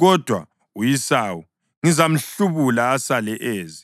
Kodwa u-Esawu ngizamhlubula asale eze;